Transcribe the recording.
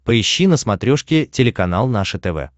поищи на смотрешке телеканал наше тв